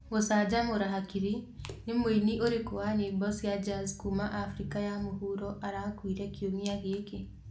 Gũcanjamüra hakiri: nĩ mũini ũrĩkũ wa nyĩmbo cia Jazz kuma Afrika ya mũhuro arakuire kiumia gĩkĩ?